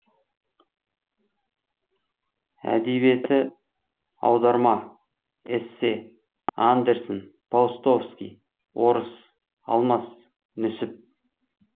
әдебиеті аударма эссе андерсен паустовский орыс алмас нүсіп